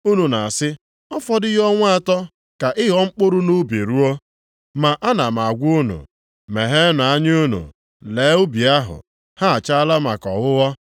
Unu na-asị, ‘ọ fọdụghị ọnwa anọ ka ịghọ mkpụrụ nʼubi ruo?’ Ma ana m agwa unu, megheenụ anya unu lee ubi ahụ, ha achaala maka ọghụghọ.